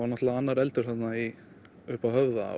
náttúrulega annar eldur þarna uppi á höfða